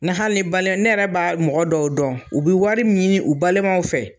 Ni hali ne yɛrɛ bɛ mɔgɔ dɔw dɔn , u bɛ wari ɲini u balimaw fɛ.